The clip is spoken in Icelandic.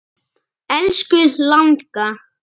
Elsku langa.